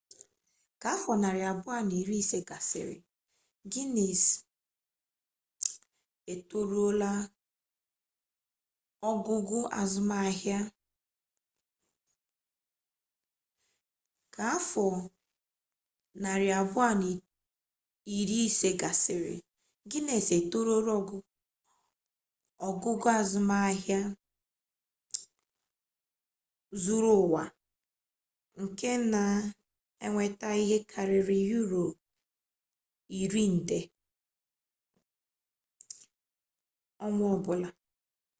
ka afọ 250 gasịrị gines etoruola ogugo azụmahịa zuru ụwa nke na enweta ihe karịrị euro iri nde us$14.7 billion ọnwa ọbụla